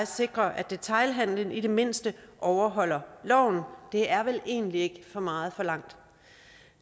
sikre at detailhandlen i det mindste overholder loven det er vel egentlig ikke for meget forlangt